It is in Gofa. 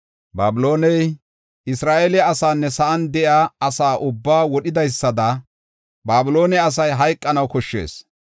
Babilooney, Isra7eele asaanne sa7an de7iya asa ubbaa wodhidaysada Babiloone asay hayqanaw koshshees.